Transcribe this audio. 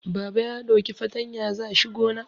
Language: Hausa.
Baba ya ɗauki fatanya za shi gona